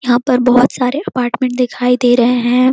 यहाँ पर बहुत सारे अपार्टमेंट दिखाई दे रहे हैं।